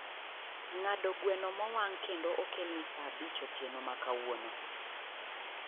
ng'ado gweno mowang' kendo okelni saa abich otieno ma kawuono